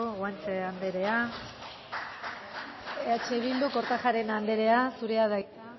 guanche anderea eh bildu kortajarena andrea zurea da hitza